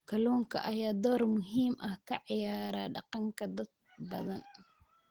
Kalluunka ayaa door muhiim ah ka ciyaara dhaqanka dad badan.